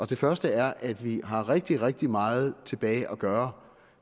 det første er at vi har rigtig rigtig meget tilbage at gøre